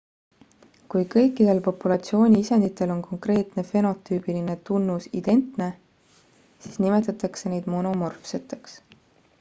kui kõikidel populatsiooni isenditel on konkreetne fenotüübiline tunnus identne siis nimetatakse neid monomorfseteks